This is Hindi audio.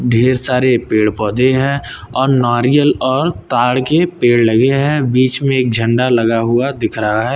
ढेर सारे पेड़ पौधे हैं और नारियल और ताड़ के पेड़ लगे हैं बीच में एक झंडा लगा हुआ दिख रहा है।